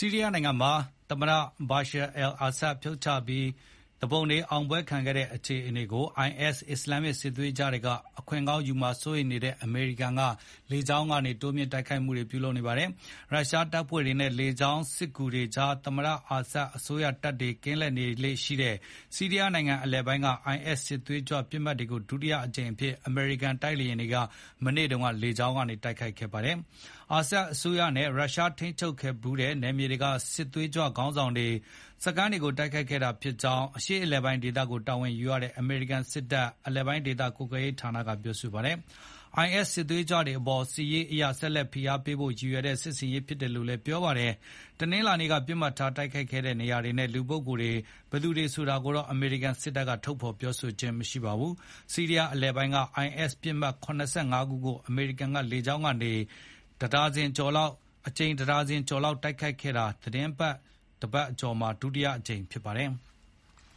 ီးရီးယားနိုင်ငံမှာ သမ္မတ Bashar al-Assad ကို ဖြုတ်ချပြီး သူပုန်တွေ အောင်ပွဲခံခဲ့တဲ့အခြေအနေကို IS အစ္စလာမ်စစ်သွေးကြွတွေအခွင့်ကောင်းယူမှာ စိုးရိမ်နေတဲ့အမေရိကန်က လေကြောင်းကနေ တိုးမြှင့်တိုက်ခိုက်နေပါတယ်။ ရုရှားတပ်ဖွဲ့တွေနဲ့ လေကြောင်းစစ်ကူတွေကြား သမ္မတအာဆတ်အစိုးရတပ်တွေ ကင်းလှည့်လေ့ရှိတဲ့ ဆီးရီးယားနိုင်ငံအလယ်ပိုင်းက IS စစ်သွေးကြွပစ်မှတ်တွေကို ဒုတိယအကြိမ်အဖြစ် အမေရိကန် တိုက်လေယာဉ်တွေ မနေ့တုန်းက လေကြောင်းကနေ တိုက်ခိုက်ခဲ့တာပါ။ အာဆတ်အစိုးရနဲ့ ရုရှား ထိန်းချုပ်ခဲ့ဖူးတဲ့နယ်မြေတွေက စစ်သွေးကြွခေါင်းဆောင်တွေနဲ့ စခန်းတွေကို တိုက်ခိုက်ခဲ့တာ ဖြစ်ကြောင်းလည်း အရှေ့အလယ်ပိုင်းဒေသကို တာဝန်ယူရတဲ့ အမေရိကန်စစ်တပ် အလယ်ပိုင်းဒေသ ကွပ်ကဲရေးဌာနက ပြောပါတယ်။ IS စစ်သွေးကြွတွေအပေါ် စစ်ရေးအရ ဆက်လက်ဖိအားပေးဖို့ ရည်ရွယ်တဲ့ စစ်ဆင်ရေး ဖြစ်တယ်လို့လည်း ပြောပါတယ်။ တနင်္လာနေ့က ပစ်မှတ်ထားတိုက်ခိုက်ခဲ့တဲ့ နေရာတွေနဲ့ လူပုဂ္ဂိုလ်တွေ ဘယ်သူဆိုတာကိုတော့ အမေရိကန်စစ်တပ်က ထုတ်ဖော်မပြောပါဘူး။ ဆီးရီးယားအလယ်ပိုင်းက IS ပစ်မှတ် ၇၅ ခုကို အမေရိကန်က လေကြောင်းကနေ အကြိမ် ၁ ဒါဇင်ကျော်တိုက်ခိုက်ခဲ့တာ သီတင်းတပတ်ကျော်အတွင်း ဒုတိယအကြိမ် ဖြစ်ပါတယ်။